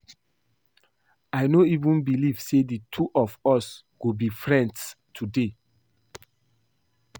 I no even believe say the two of us go be friends today